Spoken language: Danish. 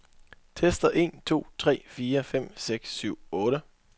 Tester en to tre fire fem seks syv otte.